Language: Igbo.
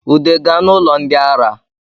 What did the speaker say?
Ude gaa n’ụlọ ndị ara